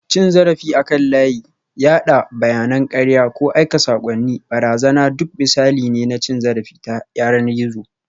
Cin zarafi akan layi, yada bayanan karya, ko aika saƙonnin barazana duk misalai ne na cin zarafi ta yanar gizo